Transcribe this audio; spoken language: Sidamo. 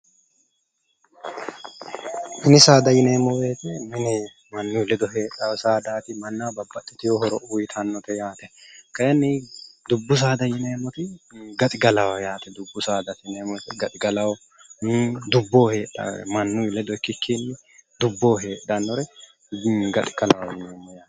Mini saadaati yineemmo woyte mine heedhaote manaho babbaiteewo horo uuyitannote yaate kayinni dubbu saada yineemmo woyte gaxigalaho yaate dubbo heedhawore mannu ledo ikikkinni dubbo heedhanore haxiglaho yineeneemo yaate